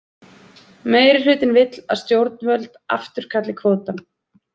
Meirihlutinn vill að stjórnvöld afturkalli kvótann